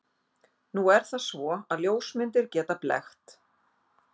Nú er það svo, að ljósmyndir geta blekkt.